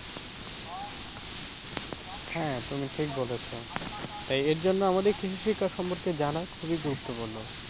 হ্যাঁ, তুমি ঠিক বলেছো তাই এর জন্য আমাদের কিছু শিক্ষা সম্পর্কে জানা খুবই গুরুত্বপূর্ণ।